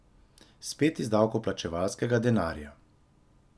Spet iz davkoplačevalskega denarja.